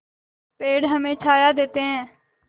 पेड़ हमें छाया देते हैं